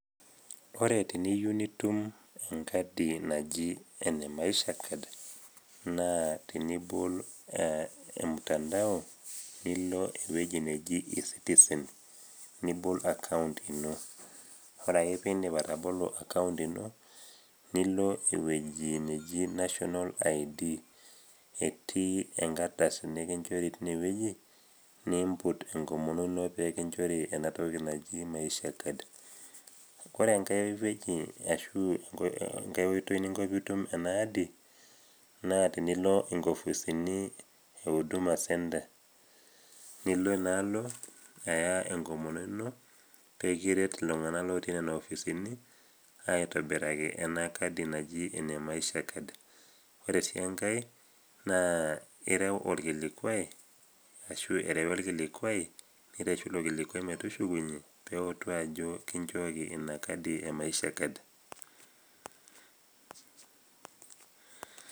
ore teniyu nitum enkadi naji ene maisha card naa tenibol e mtandao nilo ewueji nei e citizen nibol account ino ore ake pindip atabolo account ino nilo ewueji neji national id etii enkardasi nikinchori tinewueji niimput enkomono ino pekinchori enatoki naji maisha card ore enkae wueji ashu enkae oitoi ninko piitum ena adi naa tinilo inkofisini e huduma centre nilo inaalo aya enkomono ino pekiret iltung'anak lotii nena ofisini aitobiraki ena kadi naji ene maisha card ore sii enkae naa irew orkilikuai ashu erewi orkilikuai nireshu ilo kilikuai metushukunyie pewutu ajo kinchooki ina kadi e maisha card.